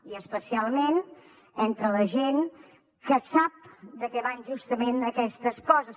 i especialment entre la gent que sap de què van justament aquestes coses